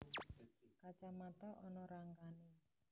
Kacamata ana rangkané